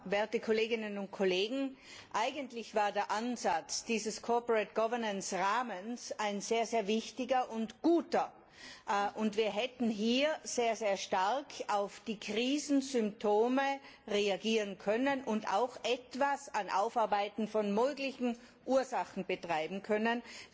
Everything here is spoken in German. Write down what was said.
Herr Präsident! Herr Kommissar! Werte Kolleginnen und Kollegen! Eigentlich war der Ansatz dieses Rahmens ein sehr wichtiger und guter, und wir hätten hier sehr stark auf die Krisensymptome reagieren können und auch etwas an Aufarbeiten von möglichen Ursachen betreiben können.